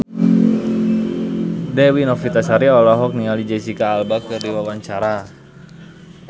Dewi Novitasari olohok ningali Jesicca Alba keur diwawancara